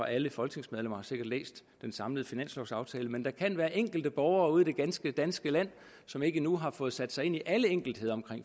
alle folketingsmedlemmer har læst den samlede finanslovaftale men der kan være enkelte borgere ude i det ganske danske land som endnu ikke har fået sat sig ind i alle enkeltheder